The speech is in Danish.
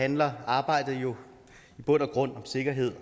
handler arbejdet jo i bund og grund om sikkerhed